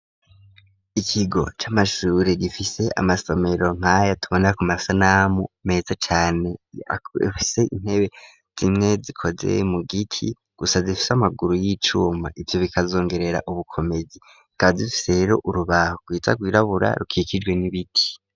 Ikigo c'amashure gifise amasomero nk'aya tubona ku masanamu, meza cane afise intebe zimwe zikoze mu giti gusa zifise amaguru y'icuma, ivyo bikazongerera ubukomezi zikaba zifise rero urubaho rwiza rwirabura rukikijwe n'ibiti.